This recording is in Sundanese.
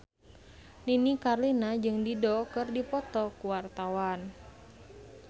Nini Carlina jeung Dido keur dipoto ku wartawan